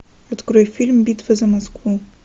открой фильм битва за москву